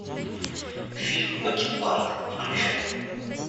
фильм бакенбарды включай